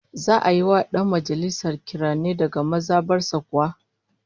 Za'a yi wa dan majalisar kiranye daga maza bar sa kuwa?